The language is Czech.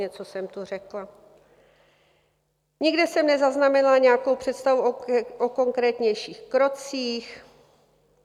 Něco jsem tu řekla, nikde jsem nezaznamenala nějakou představu o konkrétnějších krocích.